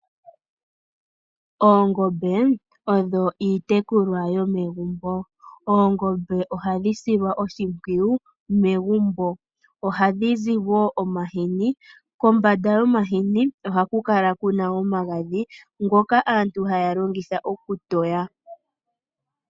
Oongombe odho iitekulwa yomegumbo oongombe ohadhi silwa oshimpwiyu megumbo. Ohadhi zi wo omahini kombanda yomahini ohaku kala kuna omagadhi ngoka aantu haya longitha okutoya.